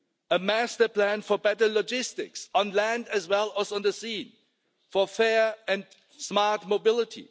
A master plan for better logistics, on land as well as on the sea, for fair and smart mobility.